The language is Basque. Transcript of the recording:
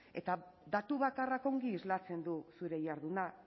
eta datu bakarrak ongi islatzen du zure jarduna